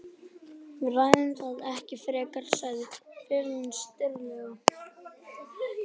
Við ræðum það ekki frekar, sagði fiðlarinn stillilega.